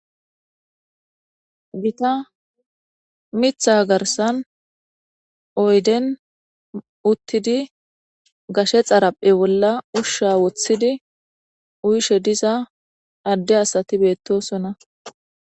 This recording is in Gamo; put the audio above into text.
Gita mitha garsan oyden uttidi gashe xaraphe bolla ushsha woththidi uyshe diza adde asati beettosonna.